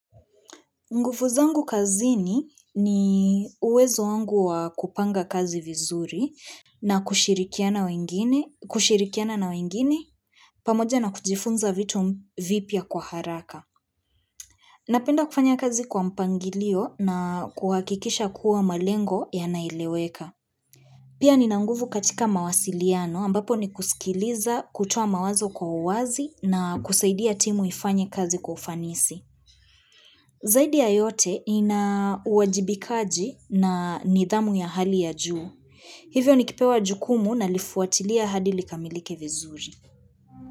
Nguvu zangu kazini ni uwezo wangu wa kupanga kazi vizuri na kushirikiana na wengine pamoja na kujifunza vitu vipya kwa haraka. Napenda kufanya kazi kwa mpangilio na kuhakikisha kuwa malengo yanaeleweka. Pia nina nguvu katika mawasiliano ambapo ni kusikiliza, kutoa mawazo kwa uwazi na kusaidia timu ifanye kazi kwa ufanisi. Zaidi ya yote ina uwajibikaji na nidhamu ya hali ya juu. Hivyo nikipewa jukumu nalifuatilia hadi likamilike vizuri.